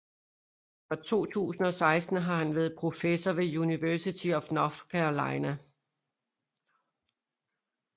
Fra 2016 har han været professor ved University of North Carolina